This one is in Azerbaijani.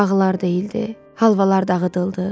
Ağlar deyildi, halvalar dağıdıldı.